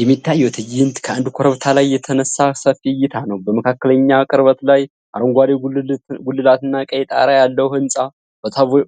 የሚታየው ትዕይንት ከአንድ ኮረብታ ላይ የተነሳ ሰፊ እይታ ነው። በመካከለኛ ቅርበት ላይ አረንጓዴ ጉልላትና ቀይ ጣራ ያለው ሕንፃ